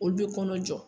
Olu bɛ kɔnɔ jɔ